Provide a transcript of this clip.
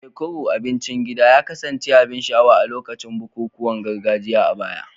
Ekuru, abincin gida, ya kasance abin sha'awa a lokacin bukukuwan gargajiya a baya.